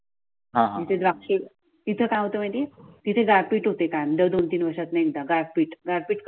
तिथे काय होत माहित आहे. तिथे गारपीट होते कारण दोन तीन वर्वषातून एकदा गारपीट गारपीट